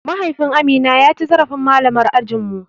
Mahaifin Amina ya ci zarafin malamar ajin mu.